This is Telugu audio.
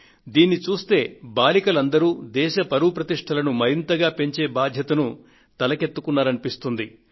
దీనిని పట్టి చూస్తే బాలికలు అందరూ దేశ పరువు ప్రతిష్ఠలను మరింతగా పెంచే బాధ్యతను తలకు ఎత్తుకున్నారనిపిస్తుంది